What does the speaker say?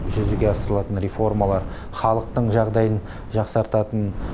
жүзеге асырылатын реформалар халықтың жағдайын жақсартатын